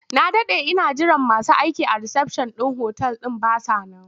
Na daɗe ina jiran masu aikin risafshan ɗin otal ɗin ba sa nan.